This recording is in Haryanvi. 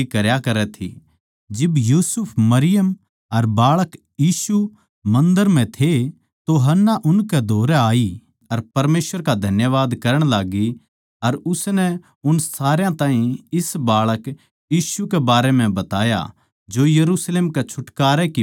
जिब यूसुफ मरियम अर बाळक यीशु मन्दर म्ह थे तो हन्नाह उनकै धोरै आई अर परमेसवर का धन्यवाद करण लाग्गी अर उसनै उन सारया ताहीं इस बाळक यीशु के बारें म्ह बताया जो यरुशलेम कै छुटकारै की बाट देखै थे